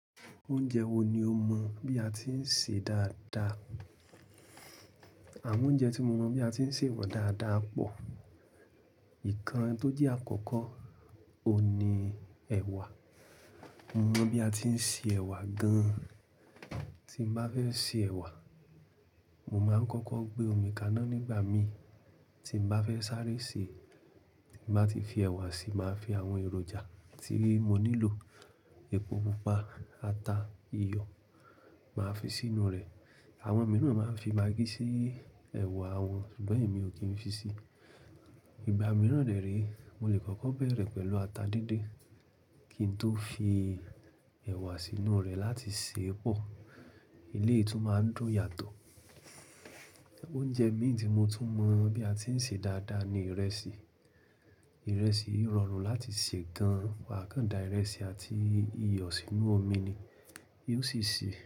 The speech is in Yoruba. Oúnjẹ wo ni o mọ bí a ti ń sè é dáadáa? Àwọn oúnjẹ tí mo mọ bí a ti ń sè wọ́n dáadáa pọ̀. Ìkan tó jẹ́ àkọ́kọ́ oun ni ẹ̀wà. Mo mọ bí a ti ń ṣe ẹ̀wà gan-an. Tí mo bá fẹ́ ṣe ẹ̀wà, mo máa ń kọ́kọ́ gbé omi kaná nígbà mi. Tí mo bá fẹ́ sáré sè é, tí mo bá ti fi ẹ̀wà si, màá fi àwọn èròjà tí mo nílò—epo pupa, ata, iyọ̀—màá fi sínú rẹ̀. Àwọn mìíràn máa ń fi magí sí ẹ̀wà wọn, ṣùgbọ́n èmi ò kí ń fi si. Ìgbà mìíràn de re, mo lè kọ́kọ́ bẹ̀rẹ̀ pẹ̀lú ata díndín kí n tó fi ẹ̀wà sínú rẹ̀ láti ṣe é pọ̀. Elé yìí tún máa ń dùn yàtọ̀. Ọ̀únjẹ mí tí mo tún mọ bí a ti ń ṣe dáadáa ni ìrẹsì. Ìrẹsì rọrùn láti ṣe gan-an. Wà á kàn da ìrẹsì àti iyọ̀ sínú omi ni, yóò sì sè.